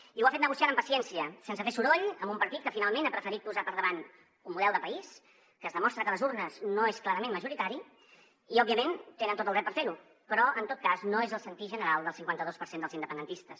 i ho ha fet negociant amb paciència sense fer soroll amb un partit que finalment ha preferit posar per davant un model de país que es demostra que a les urnes no és clarament majoritari i òbviament tenen tot el dret per fer ho però en tot cas no és el sentir general del cinquanta dos per cent dels independentistes